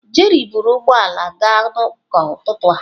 Jerry buru ụgbọ ala gaa ụka n'ụtụtụ a.